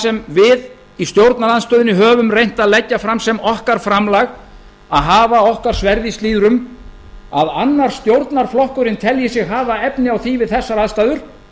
sem við í stjórnarandstöðunni höfum reynt að leggja fram sem okkar framlag að hafa okkar sverð í slíðrum að annar stjórnarflokkurinn telji sig hafa efni á því við þessar aðstæður